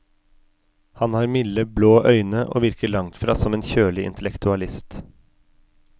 Han har milde blå øyne og virker langtfra som en kjølig intellektualist.